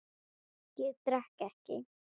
Ég drekk ekki.